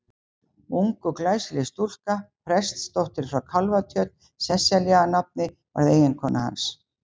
Ung og glæsileg stúlka, prestsdóttir frá Kálfatjörn, Sesselja að nafni, varð eiginkona hans.